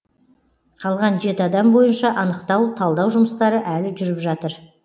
қалған жеті адам бойынша анықтау талдау жұмыстары әлі жүріп жатыр